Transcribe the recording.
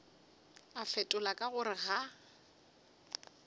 a fetola ka gore ga